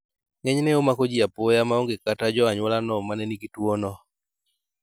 Ng'enyne omako ji apoya maonge kata jo anyuola no manenigi tuo no